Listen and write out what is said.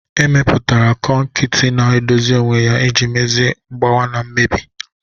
Emepụtara kọnkịtị na-edozi onwe ya iji mezie mgbawa na mmebi..